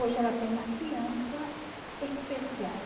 Hoje ela tem uma criança especial.